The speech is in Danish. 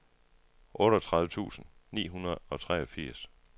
otteogtredive tusind ni hundrede og treogfirs